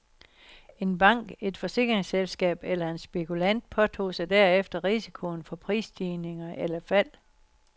En bank, et forsikringsselskab eller en spekulant påtog sig derefter risikoen for prisstigninger eller fald.